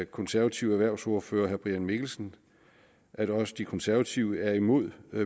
konservative erhvervsordfører herre brian mikkelsen at også de konservative er imod